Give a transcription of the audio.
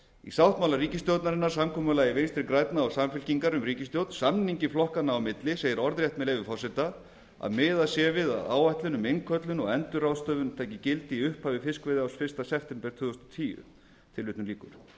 í sáttmála ríkisstjórnarinnar samkomulagi vinstri grænna og samfylkingar um ríkisstjórn samningi flokkanna á milli segir orðrétt með leyfi forseta að m miðað sé við að áætlun um innköllun og endurráðstöfun taki gildi í upphafi fiskveiðiárs fyrsta september tvö þúsund og